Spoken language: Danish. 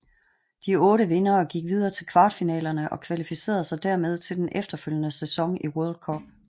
De otte vindere gik videre til kvartfinalerne og kvalificerede sig dermed til den efterfølgende sæson i World Group